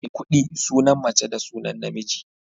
Maikuɗi sunan mace da sunan namiji.